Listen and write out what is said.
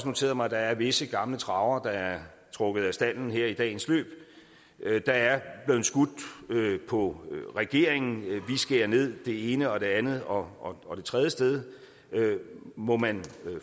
noteret mig at der er visse gamle travere der er trukket af stalden i dagens løb der er blevet skudt på regeringen vi skærer ned det ene og det andet og det tredje sted må man